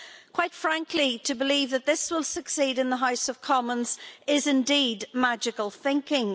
Quite frankly, to believe that this will succeed in the House of Commons is indeed magical thinking.